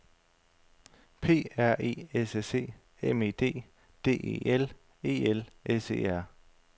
P R E S S E M E D D E L E L S E R